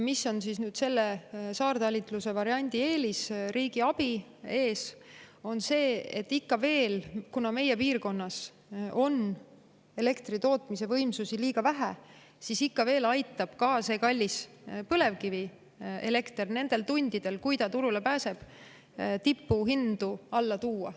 Mis on selle saartalitluse variandi eelis riigiabi ees, on see, et kuna meie piirkonnas on elektritootmise võimsusi ikka veel liiga vähe, siis aitab ka see kallis põlevkivielekter nendel tundidel, kui see turule pääseb, tipuhindu alla tuua.